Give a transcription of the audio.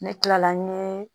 Ne kilala n ye